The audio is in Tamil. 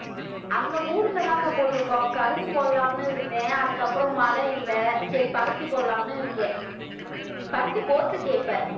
அங்க ஊர்லதான்க்கா போட்டிருக்கோம். கரும்பு போடலாம்ன்னு இருந்தேன் அதுக்கு அப்புறம் மழை இல்லை சரி பருத்தி போடலாம்னு இருக்கேன் பருத்தி போட்டிருக்கு இப்ப